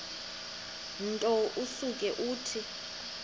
nto usuke uthi